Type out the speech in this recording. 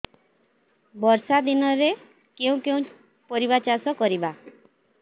ବର୍ଷା ଦିନରେ କେଉଁ କେଉଁ ପରିବା ଚାଷ କରିବା